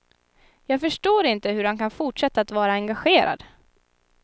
Jag förstår inte hur han kan fortsätta att vara engagerad.